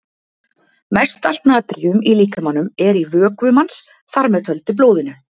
Mest allt natríum í líkamanum er í vökvum hans, þar með töldu blóðinu.